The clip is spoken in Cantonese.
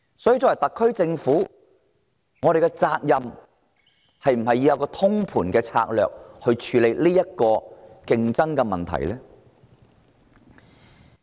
所以，作為負責任的政府，特區政府是否應制訂通盤策略處理人才競爭問題？